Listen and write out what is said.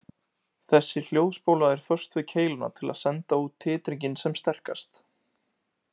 Þessi hljóðspóla er föst við keiluna til að senda út titringinn sem sterkast.